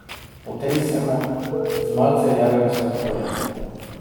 Potresemo z malce rjavega sladkorja.